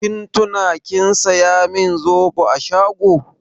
Kin tuna kin saya min zoɓo a shago?